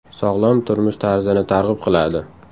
Sog‘lom turmush tarzini targ‘ib qiladi.